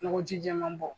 Nɔgɔji jɛman bɔ